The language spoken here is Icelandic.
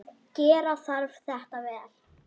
Gera þarf þetta vel.